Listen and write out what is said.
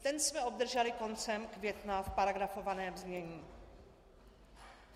Ten jsme obdrželi koncem května v paragrafovaném znění.